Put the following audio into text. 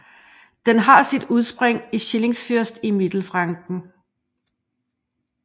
Den har sit udspring i Schillingsfürst i Mittelfranken